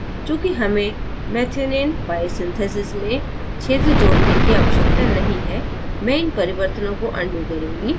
चूँकि हमें methionine biosynthesis में क्षेत्र जोड़ने की आवश्यकता नहीं है मैं इन परिवर्तनों को अनडू करुँगी